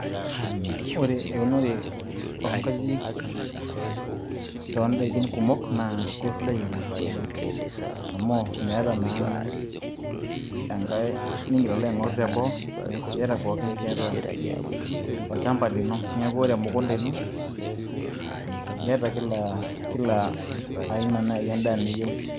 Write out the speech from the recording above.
ore eunore oo nkajijik too daikin kumok naa keisdai oleng, amu meeta naa enkae nigil alo aing'oru teboo, neeku iyata pookin tiatua olchampa lino. niaku ore emukunta ino iyata kila aina naai edaa niyieu.